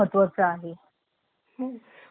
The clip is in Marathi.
आणि बघितलं तर कामाच्या ठिकाणी